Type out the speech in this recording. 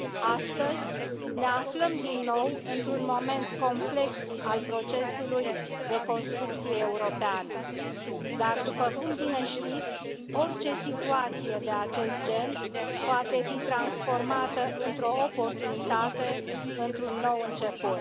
Astăzi ne aflăm din nou într un moment complex al procesului de construcție europeană dar, după cum bine știți, orice situație de acest gen poate fi transformată într o oportunitate, într un nou început.